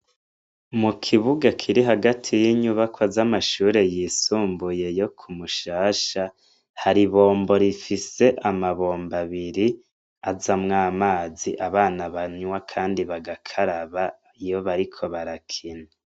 Mu kibuga kiri hagati y'inyubako az'amashure yisumbuye yo kumushasha haribombo rifise amabombo abiri aza mwo amazi abana banywa, kandi bagakaraba iyo bariko barakina.